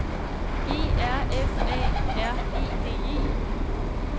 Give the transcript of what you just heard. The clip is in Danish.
E R F A R E D E